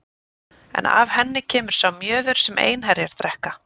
En af henni kemur sá mjöður sem einherjar drekka.